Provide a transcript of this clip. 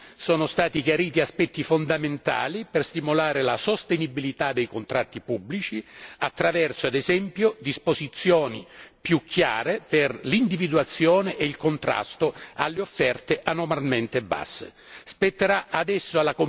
In materia di appalti sono stati chiariti aspetti fondamentali per stimolare la sostenibilità dei contratti pubblici attraverso, ad esempio, disposizioni più chiare per l'individuazione e il contrasto delle offerte anormalmente basse.